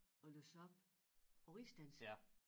At læse op på rigsdansk